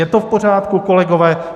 Je to v pořádku, kolegové?